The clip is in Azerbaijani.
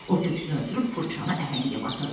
O köksünü ötürüb fırçanı əhəngə batırdı.